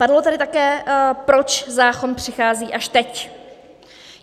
Padlo tady také, proč zákon přichází až teď.